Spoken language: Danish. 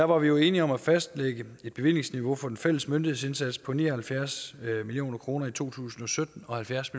var jo enige om at fastlægge et bevillingsniveau fra den fælles myndighedsindsats på ni og halvfjerds million kroner i to tusind og sytten og halvfjerds